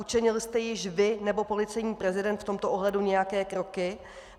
Učinil jste již vy nebo policejní prezident v tomto ohledu nějaké kroky?